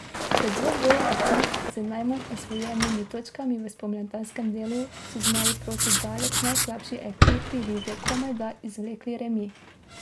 V dvoboju ekip z najmanj osvojenimi točkami v spomladanskem delu so zmaji proti daleč najslabši ekipi lige komajda izvlekli remi.